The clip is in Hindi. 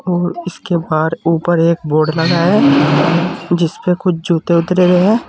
और उसके बाहर ऊपर एक बोर्ड लगा है जिसपे कुछ जूते उतरे हुए है।